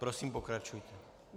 Prosím, pokračujte.